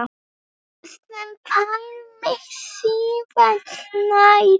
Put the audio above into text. Sem færði mig sífellt nær